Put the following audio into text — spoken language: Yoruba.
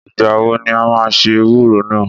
Ìgbà wọ ni a máa se ewúro náà?